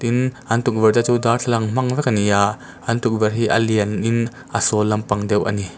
tin an tukverhte chu darthlalang hmang vek an ni a an tukverh hi a lianin a sâwl lampang deuh a ni.